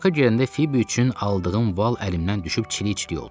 Parka girəndə Fibi üçün aldığım val əlimdən düşüb çili-çili oldu.